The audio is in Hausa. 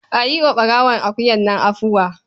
A yi wa ɓarawon akuyar nan afuwa.